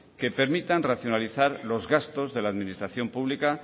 que permitan racionalizar los gastos de la administración pública